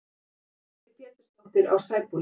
Elísabet Pétursdóttir á Sæbóli